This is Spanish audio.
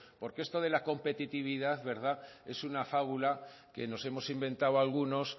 porque esto de la competitividad es una fábula que nos hemos inventado algunos